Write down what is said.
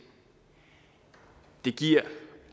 det giver